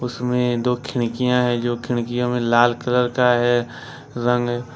उसमें दो खिनकियां है जो खिनकियों में लाल कलर का है रंग।